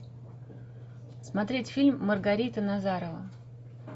смотреть фильм маргарита назарова